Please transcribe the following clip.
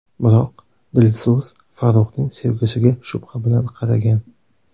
Biroq Dilso‘z Farruxning sevgisiga shubha bilan qaragan.